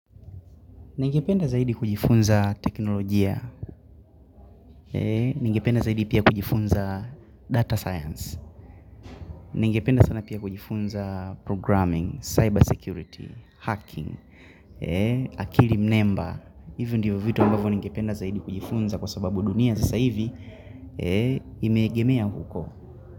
Ningependa zaidi kujifunza teknolojia, ningependa zaidi pia kujifunza data science, ningependa sana pia kujifunza programming, cyber security, hacking, akili mnemba, hivyo ndivyo vitu ambavyo ningependa zaidi kujifunza kwa sababu dunia zasa hivi, imeegemea huko.